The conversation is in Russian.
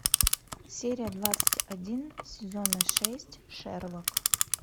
серия двадцать один сезона шесть шерлок